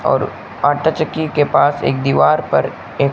और आटा चक्की के पास एक दीवार पर एक--